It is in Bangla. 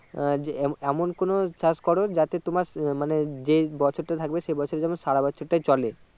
আহ যে এমন কোনো চাষ করো যাতে তোমার মানে যে বছর থাকবে সে বছর টা যেন সারা বছর টাই চলে